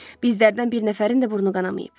Bizlərdən bir nəfərin də burnu qanamayıb.